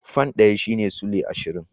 Fan ɗaya shine sulai ashirin.